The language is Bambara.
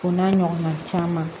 O n'a ɲɔgɔnna caman